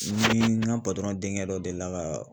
Ni n ka denkɛ dɔ delila ka